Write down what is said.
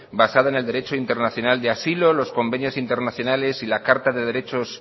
basada en el derecho internacional de asilo los convenios internacionales y la carta de derechos